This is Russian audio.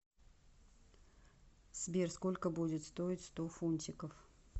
сбер сколько будет стоить сто фунтиков